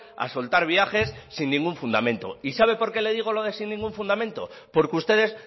a soltar viajes sin ningún fundamento y sabe por qué le digo lo de sin ningún fundamento porque ustedes